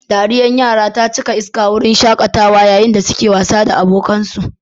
Dariyar yara ta cika iska a wurin shaƙatawa yayin da suke wasa da abokansu